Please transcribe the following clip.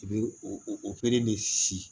I bɛ o o de si